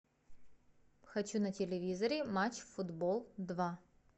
хочу на телевизоре матч футбол два